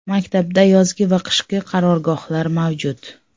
Maktabda yozgi va qishki qarorgohlar mavjud.